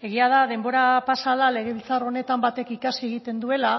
egia da denbora pasa hala legebiltzar honetan batek ikasi egiten duela